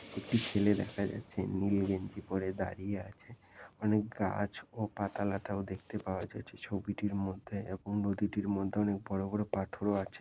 একটি ছেলে দেখা যাচ্ছে নীল গেঞ্জি পরে দাঁড়িয়ে আছে। অনেক গাছ ও পাতা লতাও দেখতে পাওয়া যাচ্ছে ছবিটির মধ্যে এবং নদীটির মধ্যে অনেক বড় বড় পাথরও আছে।